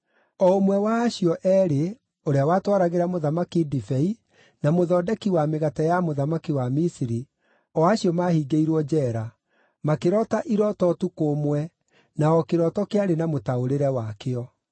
o ũmwe wa acio eerĩ, ũrĩa watwaragĩra mũthamaki ndibei na mũthondeki wa mĩgate ya mũthamaki wa Misiri, o acio maahingĩirwo njeera, makĩroota irooto ũtukũ ũmwe, na o kĩroto kĩarĩ na mũtaũrĩre wakĩo.